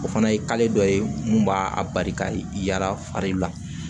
O fana ye dɔ ye mun b'a a barika yala fari la